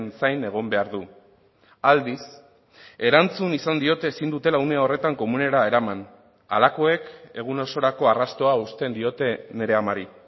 zain egon behar du aldiz erantzun izan diote ezin dutela une horretan komunera eraman halakoek egun osorako arrastoa uzten diote nire amari